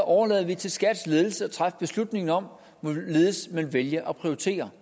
overlader det til skats ledelse at træffe beslutning om hvorledes man vælger at prioritere